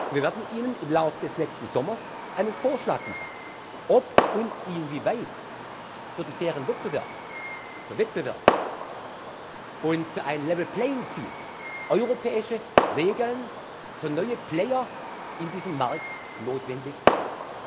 Wir werden Ihnen im Lauf des nächsten Sommers einen Vorschlag machen, ob und inwieweit für den fairen Wettbewerb, für Wettbewerb und für ein level playing field europäische Regeln für neue Player in diesem Markt notwendig